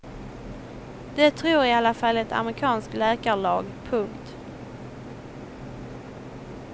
Det tror i alla fall ett amerikansk läkarlag. punkt